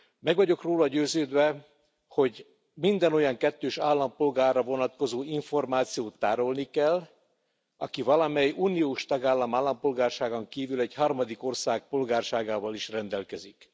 Meg vagyok róla győződve, hogy minden olyan kettős állampolgárra vonatkozó információt tárolni kell, aki valamely uniós tagállam állampolgárságán kívül egy harmadik ország polgárságával is rendelkezik.